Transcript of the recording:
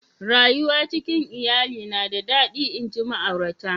Rayuwa cikin lyalli na da dadi nji ma'aurata.